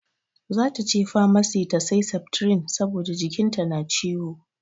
Zata je famasi ta sai septrin saboda jikin ta na ciwo.